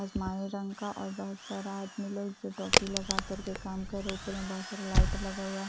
आसमानी रंग का और बहुत सारा आदमी लोग जो टोपी लगाकर काम कर रहे ऊपर में बहुत सारा लाइट लगा हुआ है ।